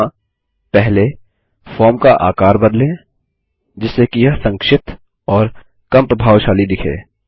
यहाँ पहले फॉर्म का आकार बदलें जिससे कि यह छोटा और कम प्रभावशाली दिखे